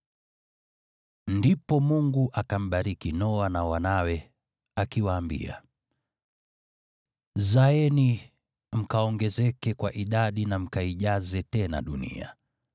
Ndipo Mungu akambariki Noa na wanawe, akiwaambia, “Zaeni mkaongezeke kwa idadi na mkaijaze tena dunia.